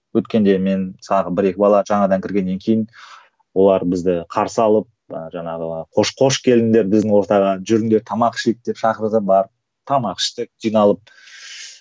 өткенде мен тағы бір екі бала жаңадан кіргеннен кейін олар бізді қарсы алып жаңағы қош қош келдіңдер біздің ортаға жүріңдер тамақ ішейік деп шақырды барып тамақ іштік жиналып